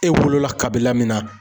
E wolo la kabila min na